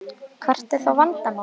Hvert er þá vandamálið?